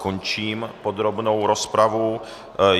Končím podrobnou rozpravu.